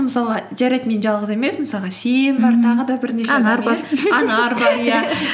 мысалға жарайды мен жалғыз емеспін саған сен бар